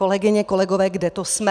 Kolegyně, kolegové, kde to jsme?